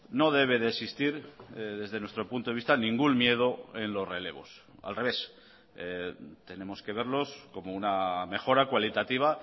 no debe de existir desde nuestro punto de vista ningún miedo en los relevos al revés tenemos que verlos como una mejora cualitativa